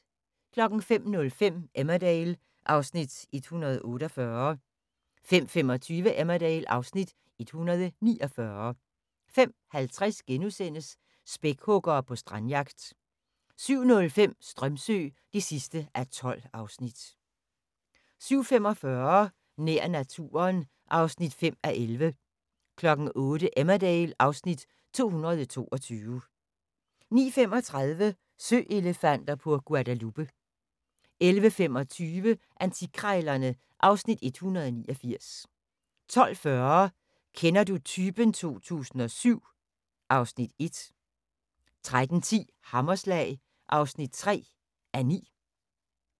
05:05: Emmerdale (Afs. 148) 05:25: Emmerdale (Afs. 149) 05:50: Spækhuggere på strandjagt * 07:05: Strömsö (12:12) 07:45: Nær naturen (5:11) 08:00: Emmerdale (Afs. 222) 09:35: Søelefanter på Guadalupe 11:25: Antikkrejlerne (Afs. 189) 12:40: Kender du typen 2007 (Afs. 1) 13:10: Hammerslag (3:9)